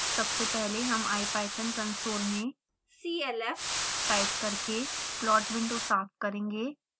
सबसे पहले हम ipython कंसोल में clf टाइप करके प्लॉट विंडो साफ करेंगे